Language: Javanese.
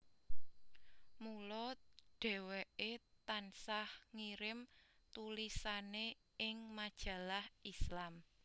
Mula dheweke tansah ngirim tulisane ing majalah Islam